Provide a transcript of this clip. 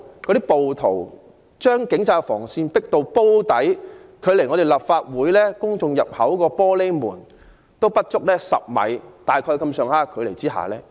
其後，暴徒將警方的防線迫至"煲底"，距離綜合大樓公眾入口的玻璃門不足10米距離。